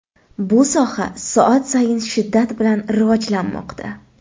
Bu soha soat sayin shiddat bilan rivojlanmoqda.